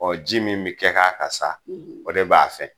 Ɔ ji min bi kɛ k'a kan sa o de b'a fɛn